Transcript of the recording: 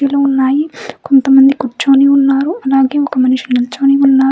ఉన్నాయి కొంతమంది కూర్చొని ఉన్నారు అలాగే ఒక మనిషి నిల్చొని ఉన్నారు